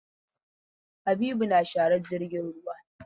Habibu yana sharar jirgin ruwa.